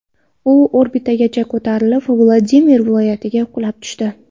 U orbitagacha ko‘tarilib, Vladimir viloyatiga qulab tushdi.